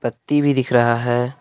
बत्ती भी दिख रहा है।